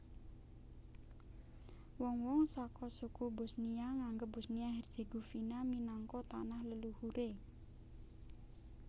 Wong wong saka suku Bosnia nganggep Bosnia Herzegovina minangka tanah leluhuré